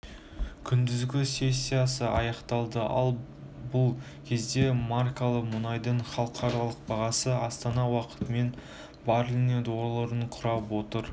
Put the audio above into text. күндізгі сессиясы аяқталды ал бұл кезде маркалы мұнайдың халықаралық бағасы астана уақытымен бареліне долларын құрап отыр